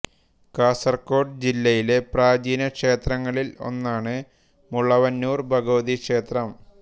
കാസർഗോഡ് ജില്ലയിലെ പ്രാചീന ക്ഷേത്രങ്ങളിൽ ഒന്നാണ് മുളവന്നൂർ ഭഗവതി ക്ഷേത്രം